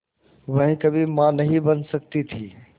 वह कभी मां नहीं बन सकती थी